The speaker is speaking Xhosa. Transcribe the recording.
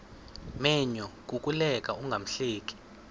menyo kukuleka ungahleki